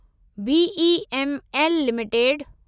BEML limited